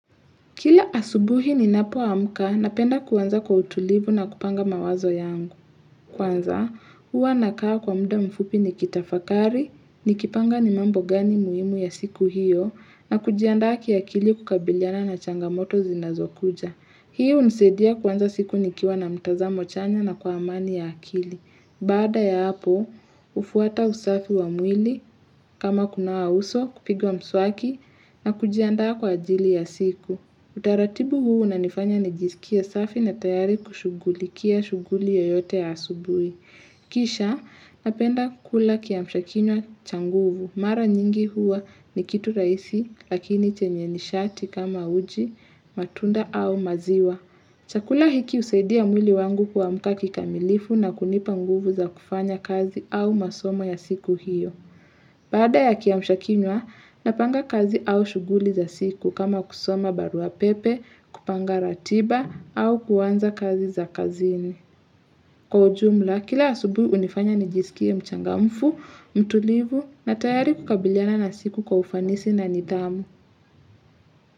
Kila asubuhi ninapoamka napenda kuanza kwa utulivu na kupanga mawazo yangu. Kwanza, huwa nakaa kwa mda mfupi nikitafakari, nikipanga ni mambo gani muhimu ya siku hiyo, na kujiandaa kiakili kukabiliana na changamoto zinazokuja. Hii hunisaidia kuanza siku nikiwa na mtazamo chanya na kwa amani ya akili. Baada ya hapo, ufuata usafi wa mwili, kama kunawa uso, kupiga mswaki, na kujianda kwa ajili ya siku. Utaratibu huu unanifanya nijisikie safi na tayari kushugulikia shuguli yoyote ya asubuhi. Kisha napenda kula kiamshakinywa cha nguvu. Mara nyingi huwa ni kitu rahisi lakini chenye nishati kama uji, matunda au maziwa. Chakula hiki husaidia mwili wangu kuamka kikamilifu na kunipa nguvu za kufanya kazi au masomo ya siku hiyo. Baada ya kiamshakinywa, napanga kazi au shuguli za siku kama kusoma barua pepe, kupanga ratiba au kuanza kazi za kazini. Kwa ujumla, kila asubuhi hunifanya nijisikie mchangamfu, mtulivu na tayari kukabiliana na siku kwa ufanisi na nidhamu.